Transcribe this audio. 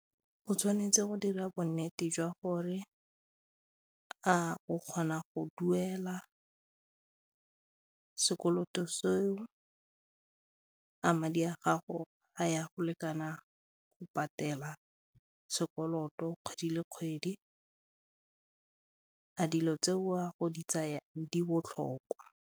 O tshwanetse go dira bonnete jwa gore a o kgona go duela sekoloto seo, a di a gago a ya go lekana go patela sekoloto kgwedi le kgwedi, a dilo tseo o a go di tsaya di botlhokwa?